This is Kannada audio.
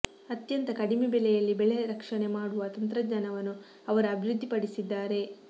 ಅತ್ಯಂತ ಕಡಿಮೆ ಬೆಲೆಯಲ್ಲಿ ಬೆಳೆ ರಕ್ಷಣೆ ಮಾಡುವ ತಂತ್ರಜ್ಞಾನವನ್ನು ಅವರು ಅಭಿವೃದ್ದಿಪಡಿಸಿದ್ದಾರೆ